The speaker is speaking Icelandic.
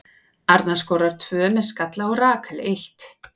Arna skorar tvö með skalla og Rakel eitt.